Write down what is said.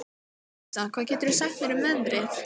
Vísa, hvað geturðu sagt mér um veðrið?